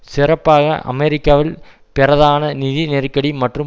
சிறப்பாக அமெரிக்காவில் பிரதான நிதி நெருக்கடி மற்றும்